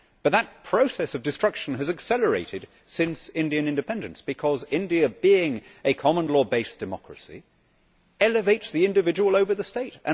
That process of destruction has accelerated since Indian independence because India being a common law based democracy elevates the individual over the state.